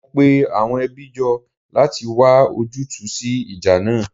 Mo pe àwọn ẹbí jọ láti wá ojútùú sí ìjà náà